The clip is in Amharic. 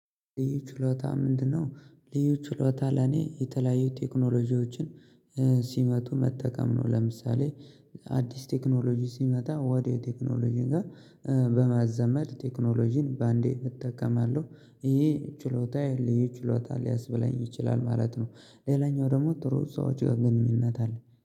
ልዩ ችሎታ ምንድነው? ልዩ ችሎታ ለኔ የተለያዩ ቴክኖሎጂዎችን ሲመጡ መጠቀም ነው። ለምሳሌ አዲስ ቴክኖሎጂ ሲመጣ ወዲያው ቴክኖሎጂን ጋር በማዘመድ ቴክኖሎጂን በአንዴ እጠቀማለሁ። ይሄ ችሎታየ ልዩ ችሎታ ሊያስብላኝ ይችላል ማለት ነው። ሌላኛው ደሞ ጥሩ ሰዎች ጋር ግንኙነት አለኝ